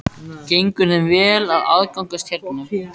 Gengur þeim vel að aðlagast hérna?